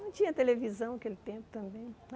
Não tinha televisão naquele tempo também.